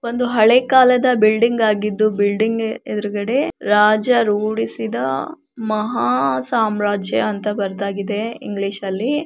ಒಂದು ಹಳೆ ಕಾಲದ ಬಿಲ್ಡಿಂಗ್ ಆಗಿದ್ದು ಬಿಲ್ಡಿಂಗ್ ಎದುರುಗಡೆ ರಾಜ ರೂಡಿಸಿದ ಮಹಾ ಸಾಮ್ರಾಜ್ಯ ಅಂತ ಬರೆದಾಗಿದೆ ಇಂಗ್ಲಿಷ್ ಅಲ್ಲಿ.